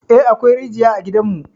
Eh, akwai rijiya a gidanmu.